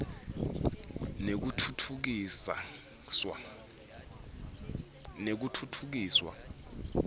nekutfutfukiswa